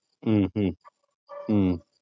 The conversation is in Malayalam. ഹും ഹും ഉം